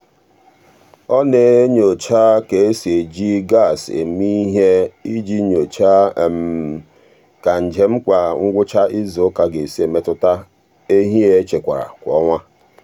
ọ na-enyocha ka e si eji gas eme ihe iji nyochaa ka njem kwa ngwụcha izuụka si emetụta ehi e echekwara kwa ọnwa.